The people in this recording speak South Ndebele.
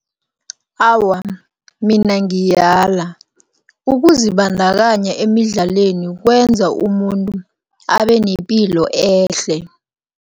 Awa, mina ngiyala, ukuzibandakanya emidlaleni kwenza umuntu abenepilo ehle.